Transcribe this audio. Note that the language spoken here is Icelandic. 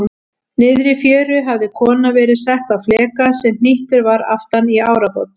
Niðri í fjöru hafði kona verið sett á fleka sem hnýttur var aftan í árabát.